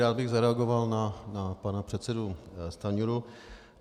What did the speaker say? Rád bych zareagoval na pana předsedu Stanjuru.